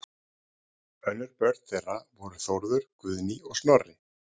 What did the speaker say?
Önnur börn þeirra voru Þórður, Guðný og Snorri.